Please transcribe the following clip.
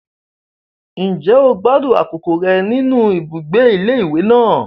Ǹjẹ́ o gbádùn àkókò rẹ nínú ibùgbé ilé ìwé náà?